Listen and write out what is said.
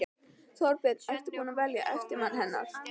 Þorbjörn: Er búið að velja eftirmann hennar?